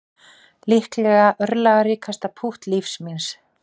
Líklega örlagaríkasta pútt lífs míns